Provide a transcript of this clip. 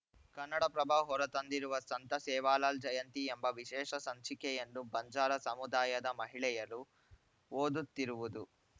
ಕನ್ನಡಪ್ರಭ ಹೊರ ತಂದಿರುವ ಸಂತ ಸೇವಾಲಾಲ್‌ ಜಯಂತಿ ಎಂಬ ವಿಶೇಷ ಸಂಚಿಕೆಯನ್ನು ಬಂಜಾರ ಸಮುದಾಯದ ಮಹಿಳೆಯರು ಓದುತ್ತಿರುವುದು